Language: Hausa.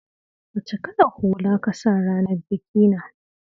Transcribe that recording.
Wacce kalar hula ka sa a ranar bikinka?